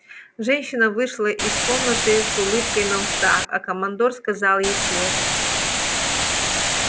женщина вышла из комнаты с улыбкой на устах а командор сказал ей вслед